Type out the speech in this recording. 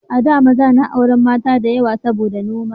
A da maza na auren mata da yawa saboda noma